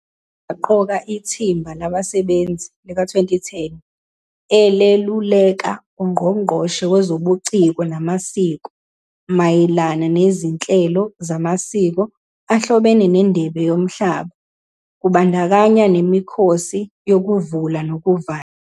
Ubuye waqoka iThimba Labasebenzi lika-2010 eleluleka uNgqongqoshe Wezobuciko Namasiko mayelana nezinhlelo zamasiko ahlobene neNdebe Yomhlaba, kubandakanya nemikhosi yokuvula nokuvala.